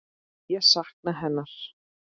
Ég sakna hennar.